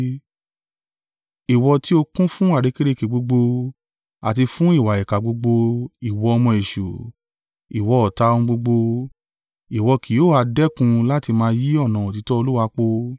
“Ìwọ ti ó kún fún àrékérekè gbogbo, àti fún ìwà ìkà gbogbo, ìwọ ọmọ èṣù, ìwọ ọ̀tá ohun gbogbo, ìwọ kì yóò ha dẹ́kun láti máa yí ọ̀nà òtítọ́ Olúwa po?